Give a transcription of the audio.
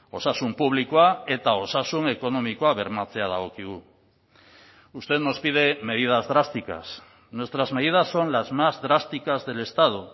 osasun publikoa eta osasun ekonomikoa bermatzea dagokigu usted nos pide medidas drásticas nuestras medidas son las más drásticas del estado